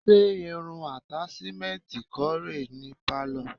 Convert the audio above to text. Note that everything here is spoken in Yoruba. Ṣé irun àtàṣímẹ́ǹtì kọ́ rè é ní pálọ̀?